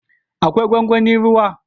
Akwai gwangwanin ruwa